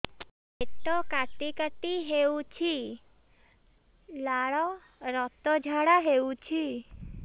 ପେଟ କାଟି କାଟି ହେଉଛି ଲାଳ ରକ୍ତ ଝାଡା ହେଉଛି